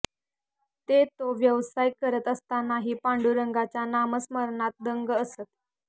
ते तो व्यवसाय करत असतानाही पांडुरंगाच्या नामस्मरणात दंग असत